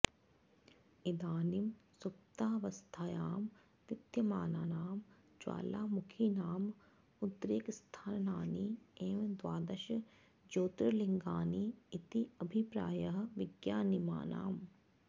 इदानीं सुप्तावस्थायां विद्यमानानां ज्वालामुखीनाम् उद्रेकस्थानानि एव द्वादश ज्योतिर्लिङ्गानि इति अभिप्रायः विज्ञानिनाम्